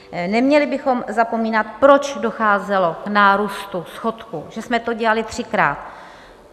Neměli bychom zapomínat, proč docházelo k nárůstu schodku, že jsme to dělali třikrát.